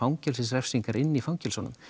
fangelsisrefsingar inni í fangelsunum